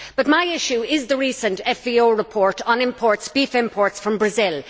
But my issue is the recent FVO report on beef imports from Brazil.